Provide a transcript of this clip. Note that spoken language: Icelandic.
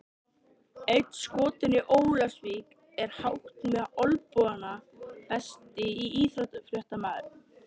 Einn skotinn í Ólafsvík er hátt með olnbogana Besti íþróttafréttamaðurinn?